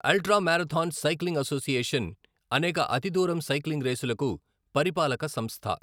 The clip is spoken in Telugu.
అల్ట్రా మారథాన్ సైక్లింగ్ అసోసియేషన్ అనేక అతి దూరం సైక్లింగ్ రేసులకు పరిపాలక సంస్థ .